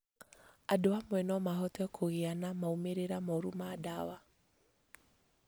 Andũ amwe no mahote kũgĩa na maumĩrĩra moru ma ndawa